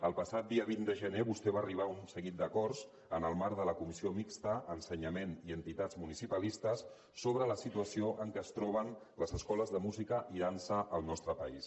el passat dia vint de gener vostè va arribar a un seguit d’acords en el marc de la comissió mixta ensenyament i entitats municipalistes sobre la situació en què es troben les escoles de música i dansa al nostre país